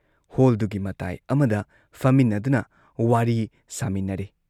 ꯍꯣꯜꯗꯨꯒꯤ ꯃꯇꯥꯏ ꯑꯃꯗ ꯐꯝꯃꯤꯟꯅꯗꯨꯅ ꯋꯥꯔꯤ ꯁꯥꯃꯤꯟꯅꯔꯦ ꯫